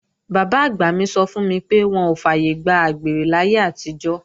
Bàbá-àgbà mi sọ fún mi pé wọn ò fàyègbà àgbèrè láyé àtijọ́